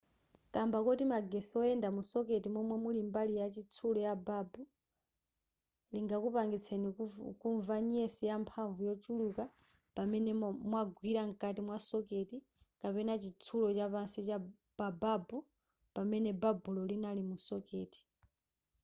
kamba koti magetsi oyenda mu socket momwe muli mbali ya chitsulo ya babu lingakupangitseni kumva nyesi yamphamvu yochuluka pamene mwagwira mkati mwa socket kapena chitsulo chapansi pa babu pamene babulo linali mu socket